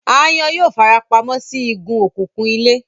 Aáyán yóò fara pa mọ́ sí igun òkùnkùn ilé